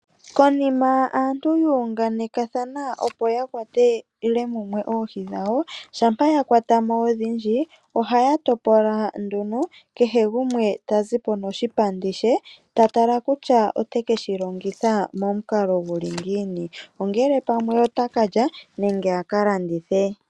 Konima aantu yu ungathana opo ya kwatele mumwe oohi dhawo shampa yakwo odhindji ohaya topola nduno kehe gumwe tazipo noshipandi she ,tatala nduno kutya otekeshi longitha momukalo guli ngiini ongele pamwe otakalya nenge aka landithe.